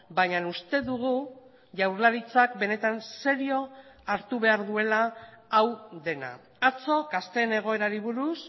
baina uste dugu jaurlaritzak benetan serio hartu behar duela hau dena atzo gazteen egoerari buruz